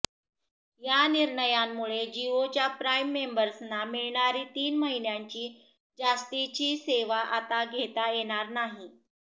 या निर्णयामुळे जिओच्या प्राईम मेंबर्सना मिळणारी तीन महिन्यांची जास्तीची सेवा आता घेता येणार नाही